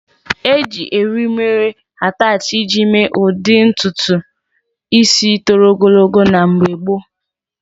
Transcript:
Eji eriri mere atachi iji mee ụdị ntutu ísí toro ogologo na mgbe gboo.